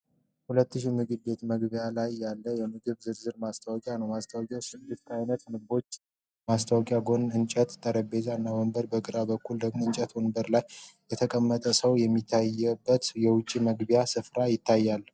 2000 ምግብ ቤት መግቢያ ላይ ያለ የምግብ ዝርዝር ማስታወቂያ ነው። ማስታወቂያው ስድስት አይነት ምግቦችን ያዛል ። ከማስታወቂያው ጎን የእንጨት ጠረጴዛዎች እና ወንበሮች፣ በግራ በኩል ደግሞ የእንጨት ወንበሮች ላይ የተቀመጡ ሰዎች የሚታዩበት የውጭ መመገቢያ ስፍራ ይታያል።